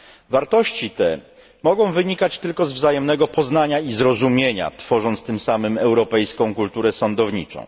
Wartości te mogą wynikać tylko z wzajemnego poznania i zrozumienia, tworząc tym samym europejską kulturę sądowniczą.